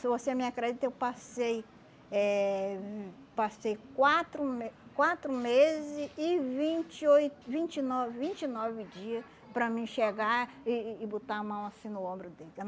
Se você me acredita, eu passei eh passei quatro me quatro meses e vinte e oi vinte e nove vinte e nove dia para mim chegar e e botar a mão assim no ombro dele.